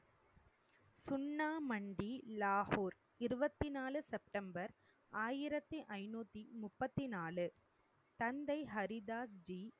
சுன்னா மண்டி, லாகூர், இருவத்தி நாலு செப்டெம்பர் ஆயிரத்தி ஐநூத்தி முப்பத்தி நாலு தந்தை ஹரி தாஸ்ஜி